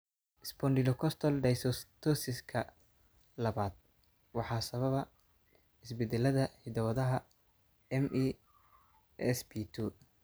Spondylocostal dysostosiska labad waxaa sababa isbeddellada hidda-wadaha MESP2.